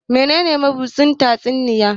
menene mabusdin tatsuniya?